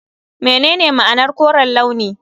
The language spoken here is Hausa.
Menene ma'anar koren launi?